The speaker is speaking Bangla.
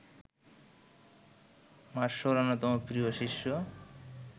মার্সোর অন্যতম প্রিয় শিষ্য